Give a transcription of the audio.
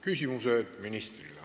Küsimused ministrile.